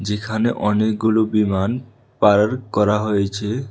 যেখানে অনেকগুলো বিমান পার্ক করা হয়েছে।